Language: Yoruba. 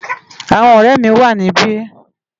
Awòn òrè mi wá nibi